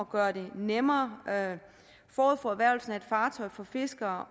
gøre det nemmere forud for erhvervelsen af et fartøj for fiskere